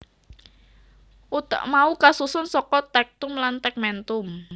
Utek mau kasusun saka tectum lan tegmentum